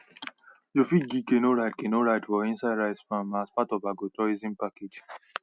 you fih give canoe ride canoe ride for inside rice farm as part of agrotourism package